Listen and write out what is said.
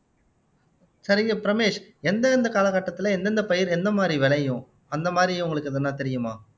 சரிங்க ரமேஷ் எந்தெந்த காலகட்டத்துல எந்தெந்த பயிர் எந்த மாதிரி விளையும் அந்த மாதிரி உங்களுக்கு எதுனா தெரியுமா